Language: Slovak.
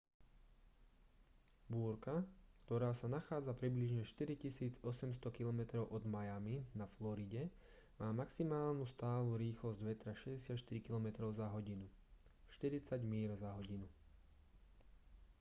búrka ktorá sa nachádza približne 4 800 km od miami na floride má maximálnu stálu rýchlosť vetra 64 km/h 40 míľ/h